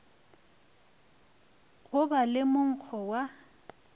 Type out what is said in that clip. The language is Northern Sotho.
go ba le monkgo wa